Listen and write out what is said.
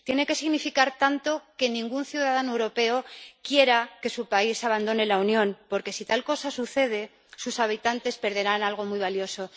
Tiene que significar tanto que ningún ciudadano europeo quiera que su país abandone la Unión porque, si tal cosa sucede, sus habitantes perderán algo muy valioso.